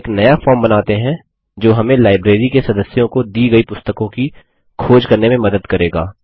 एक नया फॉर्म बनाते हैं जो हमें लाइब्रेरी के सदस्यों को दी गयी पुस्तकों की खोज करने में मदद करेगा